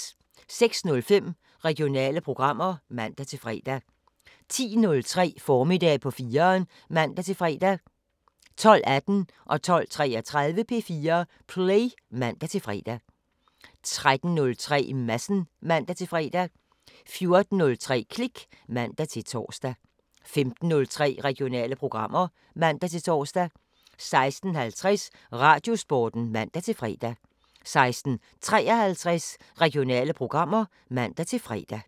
06:05: Regionale programmer (man-fre) 10:03: Formiddag på 4'eren (man-fre) 12:18: P4 Play (man-fre) 12:33: P4 Play (man-fre) 13:03: Madsen (man-fre) 14:03: Klik (man-tor) 15:03: Regionale programmer (man-tor) 16:50: Radiosporten (man-fre) 16:53: Regionale programmer (man-fre)